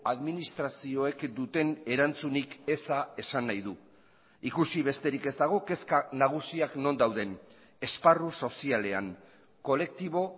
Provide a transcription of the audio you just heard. administrazioek duten erantzunik eza esan nahi du ikusi besterik ez dago kezka nagusiak non dauden esparru sozialean kolektibo